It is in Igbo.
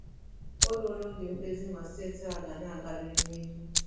O ruola oge mkpezi ma steeti a ga na-agarịrị n'ihu.